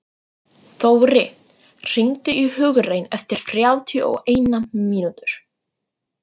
Þóri, hringdu í Hugraun eftir þrjátíu og eina mínútur.